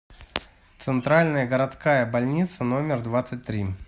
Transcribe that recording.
центральная городская больница номер двадцать три